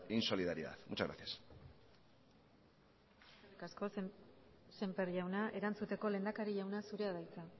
insolidaridad muchas gracias eskerrik asko sémper jauna erantzuteko lehendakari jauna zurea da hitza